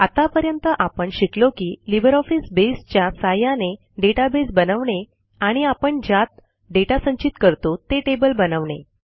आत्तापर्यंत आपण शिकलो की लिब्रिऑफिस बसे च्या सहाय्याने डेटाबेस बनवणे आणि आपण ज्यात दाता संचित करतो ते टेबल बनवणे